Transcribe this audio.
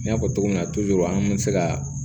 N y'a fɔ cogo min na an kun mi se ka